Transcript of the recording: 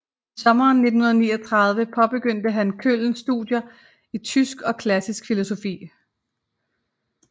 I sommeren 1939 påbegyndte han Köln studier i tysk og klassisk filologi